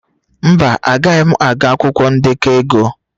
Mba, Agaghị m agụ akwụkwọ ndekọ ego.